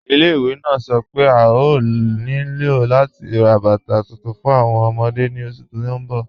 Ilẹ̀-ìwé naa sọ́ pe a yòò ní ilò lati rá bátà tuntun fún awọn ọmọdé ni oṣù tí n bọ̀.